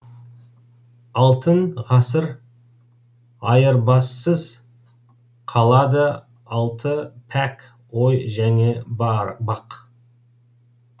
алтын ғасыр айырбассыз қалады алты пәк ой және бақ